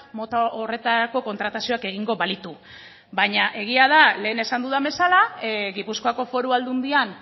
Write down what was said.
mota horretarako kontratazioak egingo balitu baina egia da lehen esan dudan bezala gipuzkoako foru aldundian